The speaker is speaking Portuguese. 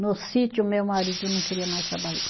No sítio, meu marido não queria mais trabalhar.